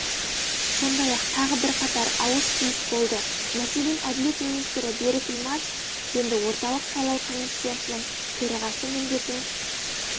сондай-ақ тағы бірқатар ауыс-түйіс болды мәселен әділет министрі берік имашев енді орталық сайлау комиссиясының төрағасы міндетін